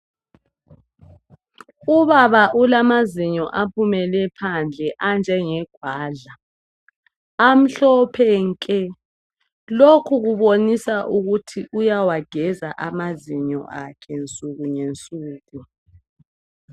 Ubaba ulamazinyo aphumele phandle anjenge gwadla amhlophe nke lokhu kubonisa ukuthi uyawageza amazinyo akhe ngensuku ngensuku.